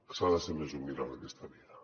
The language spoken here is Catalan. s’ha de ser més humil en aquesta vida